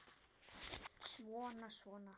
Svona, svona, svona.